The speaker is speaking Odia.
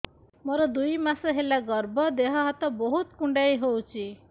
ମୋର ଦୁଇ ମାସ ହେଲା ଗର୍ଭ ଦେହ ହାତ ବହୁତ କୁଣ୍ଡାଇ ହଉଚି